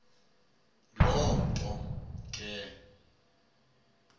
loo nto ke